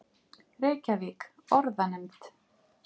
Reykjavík: Orðanefnd.